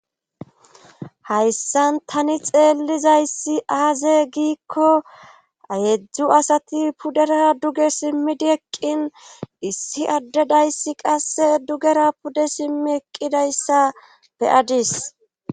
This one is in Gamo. hayssan tani xeellizayssi aaze giikko ayeedzdzu asati pudera duge simmidi eqqin issi addedayssi qasse dugera pude simmi eqqidayssa beyadis